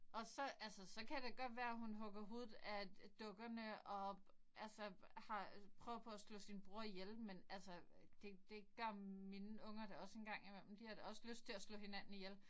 Og så altså så kan det godt være hun hugger hovedet af dukkerne og altså har prøvet på at slå sin bror ihjel men altså det det gør mine unger da også engang imellem. De har da også lyst til at slå hinanden ihjel